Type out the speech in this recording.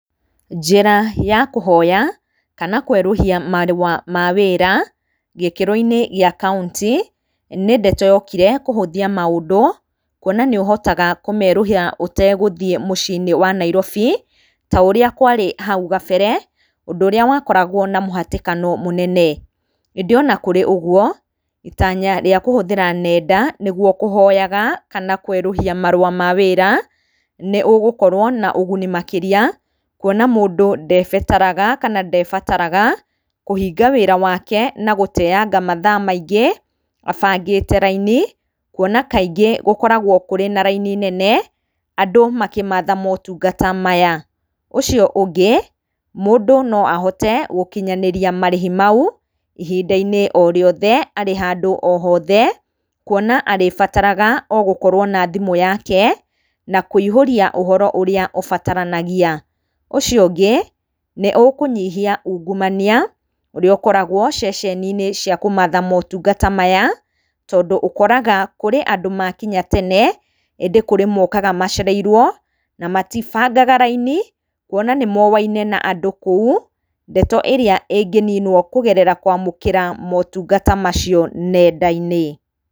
Njĩra ya kũhoya kana kwerũhia marũa ma wĩra, gĩkĩro-inĩ gĩa kauntĩ nĩndeto yokire kũhũthia maũndũ, kuona nĩ ũhotaga kũmerũhia ũtegũthiĩ mũcii-inĩ wa Nairobi ta ũrĩa kwarĩ hau kabere ũndũ ũrĩa wakoragwo na mũhatĩkano mũnene. ĩndĩ ona kũrĩ ũguo itanya rĩa kũhũthĩra nenda nĩguo kũhoyaga, kana kwerũhia marũa ma wĩra nĩ ũgũkorwo na ũguni, makĩria kuona mũndũ ndebatara kũhinga wĩra wake na gũteyanga mathaa maingĩ abangĩte raini kuona kaingĩ gũkoragwo kũrĩ na raini nene andũ makĩmatha motungata maya. Ũcio ũngĩ, mũndũ no ahote gũkinyanĩria marĩhi mau ihinda-inĩ o rĩothe arĩ handũ o hothe, kuona arĩbataraga o gũkorwo na thimũ yake na kũihũria ũhoro ũrĩa ũrĩbataranagia. Ũcio ũngĩ nĩ ũkũnyihia ungumania ũrĩa ũkoragwo ceceninĩ cia kũmatha motungata maya, tondũ ũkoraga kũrĩ andũ makinya tene ĩndĩ kũrĩ mokaga macereirwo na matibangaga raini kuona nĩ moainĩ na andũ kũu, ndeto ĩrĩa ĩngĩninwo kũgerera kwamũkĩra motungata macio nenda-inĩ.